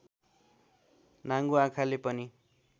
नाङ्गो आँखाले पनि